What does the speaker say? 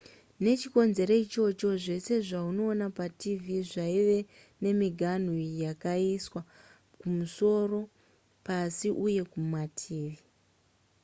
nechikonzero ichocho zvese zvaunoona patv zvaive nemiganhu yakaiswa kumusoro pasi uye mumativi